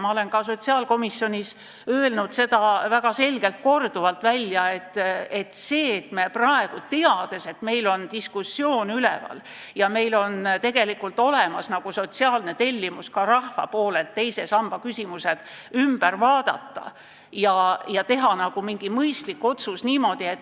Ma olen sotsiaalkomisjonis korduvalt välja öelnud: me teame, et Eestis käib diskussioon, et meil on tegelikult lausa rahva sotsiaalne tellimus teise samba küsimusi arutada ja teha mingi mõistlik otsus.